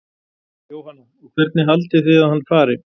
Jóhanna: Og hvernig haldið þið að hann fari?